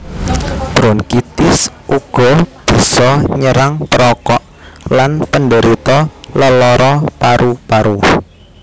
Bronkitis uga bisa nyerang perokok lan penderita lelara paru paru